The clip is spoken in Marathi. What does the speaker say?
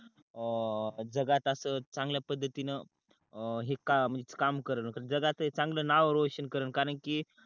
अं जगात अस चांगल्या पद्धतीन हे कामच काम करल जगात चांगल नाव रोशन करल कारण कि